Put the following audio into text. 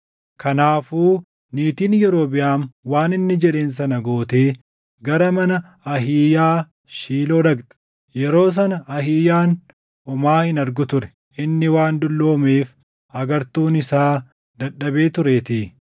Kanaafuu niitiin Yerobiʼaam waan inni jedheen sana gootee gara mana Ahiiyaa Shiiloo dhaqxe. Yeroo sana Ahiiyaan homaa hin argu ture; inni waan dulloomeef agartuun isaa dadhabee tureetii.